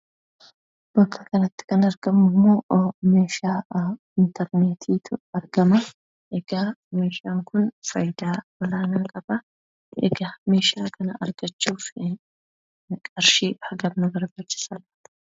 Bakka kanatti kan argamu immoo meeshaa intarneetiitu argama. Meeshaan kun fayidaa olaanaa qaba. Egaa meeshaa kana argachuuf qarshii hagam nu barbaachisaa?